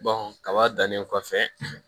kaba dannen kɔfɛ